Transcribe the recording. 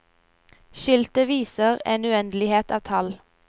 Skiltet viste en uendelighet av tall.